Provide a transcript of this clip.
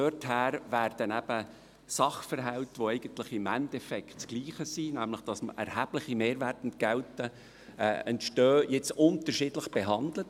Daher werden Sachverhalte, welche im Endeffekt das Gleiche betreffen, nämlich entstehende erhebliche Mehrwertentgelte, unterschiedlich behandelt.